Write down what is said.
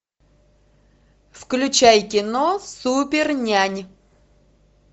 включай кино супер нянь